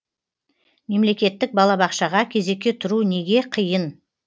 мемлекеттік балабақшаға кезекке тұру неге қиын